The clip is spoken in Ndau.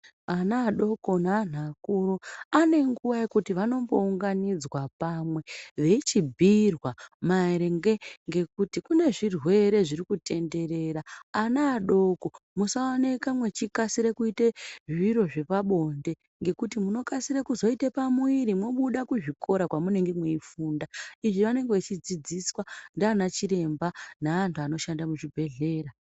Ana adoko neantu akuru anenguwa yekuti vanombounganidzwa pamwe veichibhiirwe maringe ngekuti kune zvirwere zviri kutenderera ana adoko musaonekwe mwechikasire kuite zviro zvepabonde ngekuti munokasire kuzoita pamuviri mobuda kuzvikora kwamunenge mweifunda izvi vanenge vechidzidziswa ndiana chiremba neantu anoshanda kuzvibhedhleya.